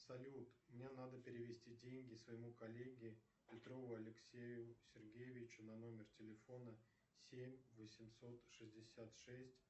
салют мне надо перевести деньги своему коллеге петрову алексею сергеевичу на номер телефона семь восемьсот шестьдесят шесть